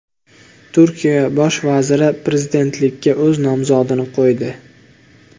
Turkiya bosh vaziri prezidentlikka o‘z nomzodini qo‘ydi.